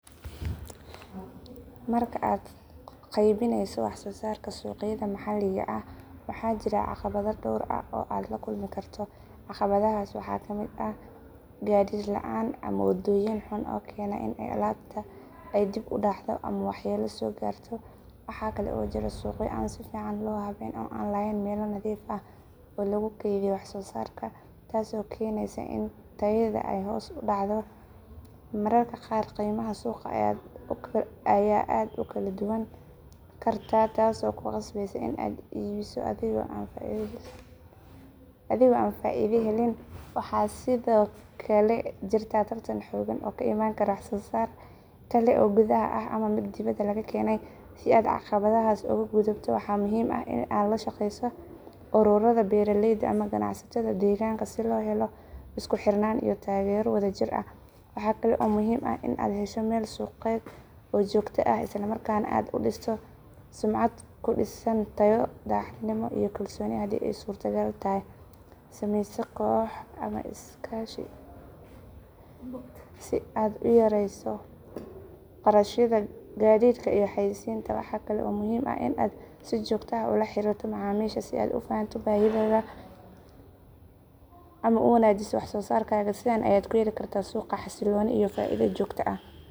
Marka aad u qaybinayso wax soo saarka suuqyada maxalliga ah waxaa jira caqabado dhowr ah oo aad la kulmi karto. Caqabadahaas waxaa ka mid ah gaadiid la’aan ama waddooyin xun oo keenaya in alaabta ay dib u dhacdo ama waxyeello soo gaarto. Waxaa kale oo jira suuqyo aan si fiican loo habayn oo aan lahayn meelo nadiif ah oo lagu kaydiyo wax soo saarka taasoo keenaysa in tayada ay hoos u dhacdo. Mararka qaar qiimaha suuqa ayaa aad u kala duwanaan kara taasoo ku qasbaysa in aad iibiso adigoo aan faa’iido helin. Waxaa sidoo kale jirta tartan xooggan oo ka iman kara wax soo saar kale oo gudaha ah ama mid dibadda laga keenay. Si aad caqabadahaas uga gudubto, waxaa muhiim ah in aad la shaqayso ururada beeraleyda ama ganacsatada deegaanka si loo helo isku xirnaan iyo taageero wadajir ah. Waxaa kale oo muhiim ah in aad hesho meel suuqeed oo joogto ah, isla markaana aad dhisto sumcad ku dhisan tayo, daacadnimo, iyo kalsooni. Haddii ay suurtagal tahay, samayso koox ama iskaashi si aad u yareyso kharashyada gaadiidka iyo xayeysiinta. Waxaa kale oo muhiim ah in aad si joogto ah ula xiriirto macaamiisha si aad u fahanto baahidooda una wanaajiso wax soo saarkaaga. Sidan ayaad ku heli kartaa suuq xasiloon iyo faa’iido joogto ah.